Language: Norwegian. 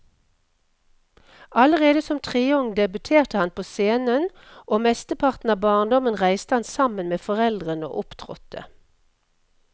Allerede som treåring debuterte han på scenen, og mesteparten av barndommen reiste han sammen med foreldrene og opptrådte.